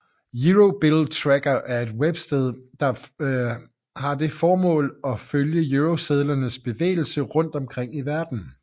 EuroBillTracker er et websted med det formål at følge eurosedlers bevægelse rundt omkring i verden